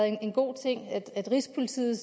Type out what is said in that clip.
en god ting rigspolitiet